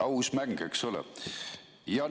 Aus mäng, eks ole?